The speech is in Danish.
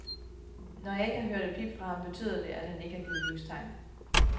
Jeg har ikke hørt et pip fra ham, betyder at han ikke har givet livstegn.